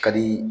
Ka di